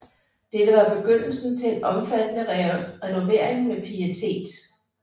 Dette var begyndelsen til en omfattende renovering med pietet